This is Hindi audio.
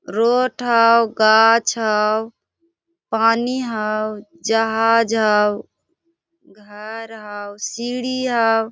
रोड हाव गाछ हाव पानी हाव जहाज हाव घर हाव सीढ़ी हाव।